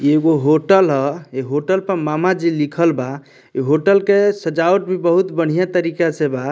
एगो होटल हअ ए होटल पर मामा जी लिखल बा इ होटल के सजावट भी बहुत बढ़िया तरिके से बा --